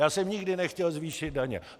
Já jsem nikdy nechtěl zvýšit daně.